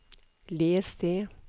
les det